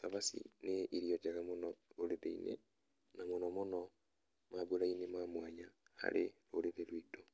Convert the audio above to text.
.Cabaci nĩ irio njega mũno ũrĩ thĩinĩ na mũno mũno mambura-inĩ ma mwanya harĩ rũrĩrĩ rwitũ.